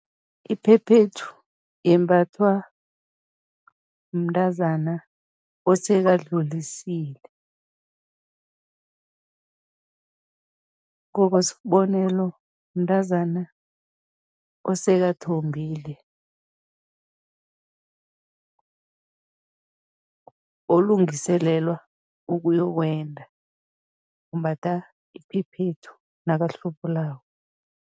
Iphephethu yembathwa mntazana osekadlulisile, ngokwesibonelo, mntazana osekathombile, olungiselelwa ukuyokwenda, umbatha iphephethu nakahlubulako.